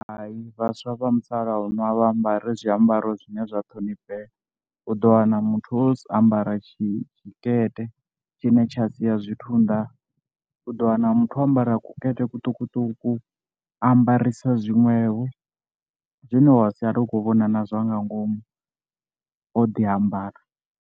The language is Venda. Hai vhaswa vha musalauno a vha a ambari zwiambaro zwine zwa ṱhoniphea, u ḓo wana muthu o ambara tshikete tshine tsha sia zwithu nnḓa, u ḓo wana muthu o ambara kukete kuṱukuṱuku a ambarisa zwinwevho zwine wa sala u khou vhona nazwa nga ngomu o ḓi ambara.